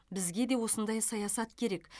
бізге де осындай саясат керек